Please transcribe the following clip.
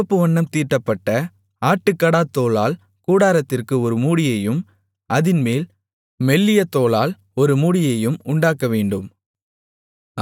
சிவப்பு வண்ணம் தீட்டப்பட்ட ஆட்டுக்கடாத் தோலால் கூடாரத்திற்கு ஒரு மூடியையும் அதின்மேல் மெல்லிய தோலால் ஒரு மூடியையும் உண்டாக்கவேண்டும்